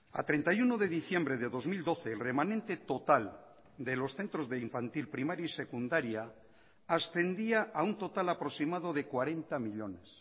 a treinta y uno de diciembre de dos mil doce el remanente total de los centros de infantil primaria y secundaria ascendía a un total aproximado de cuarenta millónes